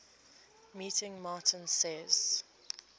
meeting martin says